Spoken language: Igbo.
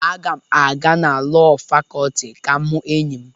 Aga m aga na Lọọ Fakọlti ka m hụ enyi m.